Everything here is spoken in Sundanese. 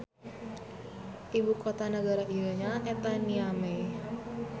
Ibu kota nagara ieu nya eta Niamey.